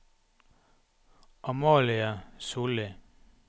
Amalie Solli